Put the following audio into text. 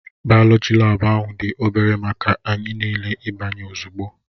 Bayoloji laabu ahụ dị obere maka anyị niile ịbanye ozugbo